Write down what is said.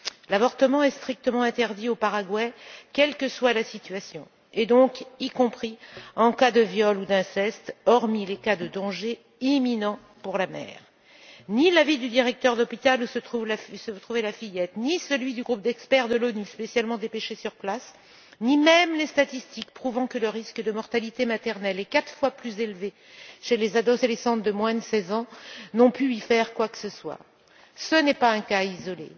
L'avortement est strictement interdit au Paraguay, quelle que soit la situation, et donc y compris en cas de viol ou d'inceste, hormis dans les cas où il existe un danger imminent pour la mère. Ni l'avis du directeur de l'hôpital où se trouvait la fillette, ni celui du groupe d'experts de l'ONU, spécialement dépêché sur place, ni même les statistiques prouvant que le risque de mortalité maternelle est quatre fois plus élevé chez les adolescentes de moins de seize ans, n'ont pu y faire quoi que ce soit. Il ne s'agit pas d'un cas isolé